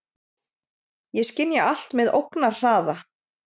Ég skynja allt með ógnarhraða.